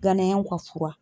Ganayɛnw ka fura